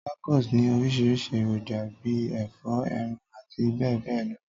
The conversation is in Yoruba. Tacos ni orísìrísi èròjà bi ẹ̀fọ́, eran áti béè béè lo.